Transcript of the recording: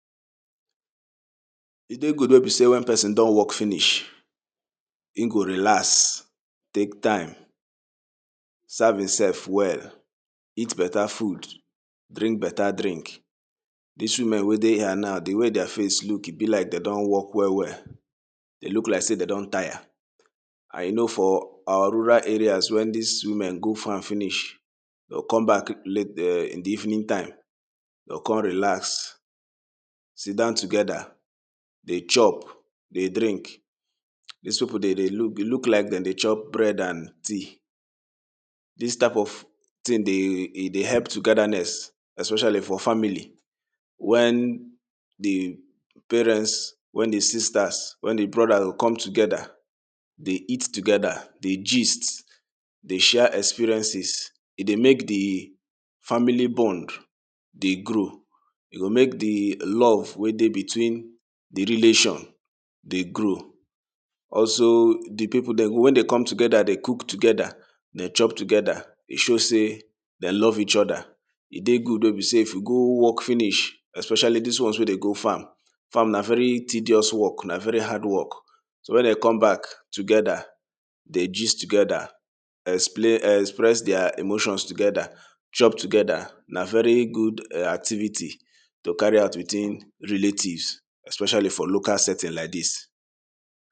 e dey good wey be sey wen person don work finish im go relax take time serv imself well eat better food drink better drink diz women wey dey here na de way their face look ebi like dey don work well well e look like sey dey don tire and you know for our rural area wen these women go farm finish dem go come back late in the evening time dem go come relax sit dan togeda de chop dey drink des people dem dey look like dem dey chop bread and tea dis type of thing dey help togedanes especially for family wen de parents wen de sistaz wen de brodaz dey come togeda dey eat togeda dey gist dey share experiences e dey make de family bond dey grow e go make de love wey dey between de relation dey grow also de people dem wen dey come togeda dey cook togeda dey chop togeda e show sey dey love each e de good wey be sey if you go work finish especially dis one wey de go farm farm na very tedious work na very hard work wen dey come back togeda dey gist togeda express dier emotion togeda chop togeda na very good activity to carry out within relatives especially for local setting like dis